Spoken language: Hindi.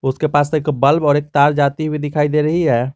उसके पास एक बल्ब और एक तार जाती हुई दिखाई दे रही है।